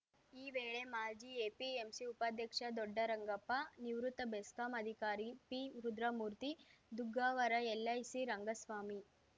ಈ ವೇಳೆ ಮಾಜಿ ಎಪಿಎಂಸಿ ಉಪಾಧ್ಯಕ್ಷ ದೊಡ್ಡರಂಗಪ್ಪ ನಿವೃತ್ತ ಬೆಸ್ಕಾಂ ಅಧಿಕಾರಿ ಪಿರುದ್ರಮೂರ್ತಿ ದುಗ್ಗಾವರ ಎಲ್‌ಐಸಿ ರಂಗಸ್ವಾಮಿ